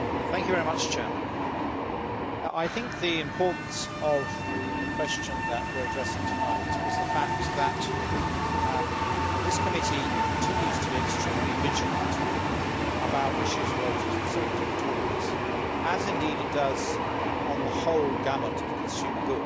Mr President, I think the importance of the question that we are addressing tonight is the fact that this committee continues to be extremely vigilant about issues related to the safety of toys, as indeed it does on the whole gamut of consumer goods.